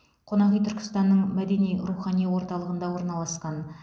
қонақүй түркістанның мәдени рухани орталығында орналасқан